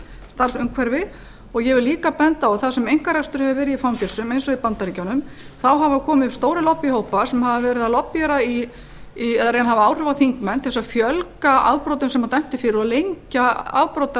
starfsumhverfi ég vil líka benda á að þar sem einkarekstur hefur verið í fangelsum eins og í bandaríkjunum hafa komið upp stórir lobbíhópar sem hafa verið að lobbíera eða reyna að hafa áhrif á þingmenn til þess að fjölga afbrotum sem dæmt er fyrir og lengja